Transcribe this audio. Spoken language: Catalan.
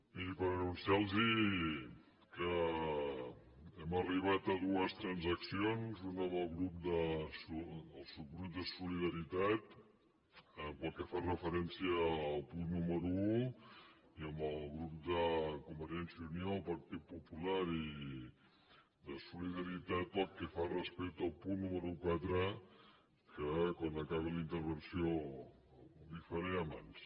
miri per anunciar los que hem arribat a dues transaccions una amb el subgrup de solidaritat pel que fa referència al punt número un i amb el grup de convergència i unió el partit popular i de solidaritat pel que fa respecte al punt número quatre que quan acabi la intervenció les hi faré a mans